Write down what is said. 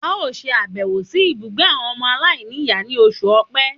A ó sàbẹ̀wò sí ibùgbé àwọn ọmọ aláìníìyá ní oṣù Òpe